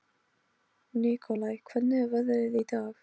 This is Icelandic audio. Nikolai, hvernig er veðrið í dag?